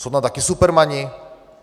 Jsou tam takoví supermani?